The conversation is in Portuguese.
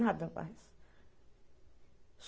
Nada mais.